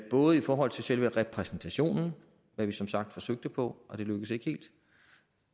både i forhold til selve repræsentationen hvad vi som sagt forsøgte på og det lykkedes ikke helt